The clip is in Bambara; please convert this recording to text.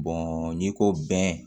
n'i ko bɛn